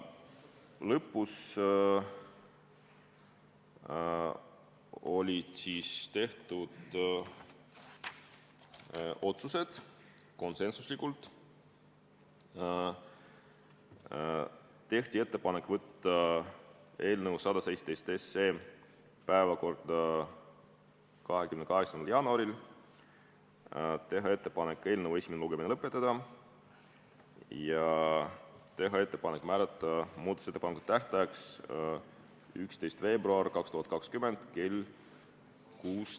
Lõpus tehti otsused : otsustati teha ettepanek saata eelnõu 117 päevakorda 28. jaanuariks, teha ettepanek eelnõu esimene lugemine lõpetada ja teha ettepanek määrata muudatusettepanekute esitamise tähtajaks 11. veebruar 2020 kell 16.